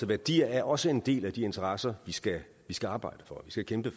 værdier er også en del af de interesser vi skal skal arbejde for vi skal kæmpe